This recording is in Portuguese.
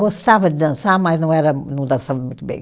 Gostava de dançar, mas não era, não dançava muito bem.